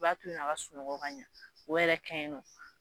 I b'a to yen nɔ a ka sunɔgɔ ka ɲɛ o yɛrɛ ka ɲi nɔ